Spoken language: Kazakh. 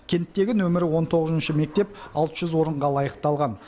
кенттегі нөмірі он тоғызыншы мектеп алты жүз орынға лайықталған